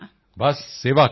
ਬਸ ਸੇਵਾ ਕਰੋ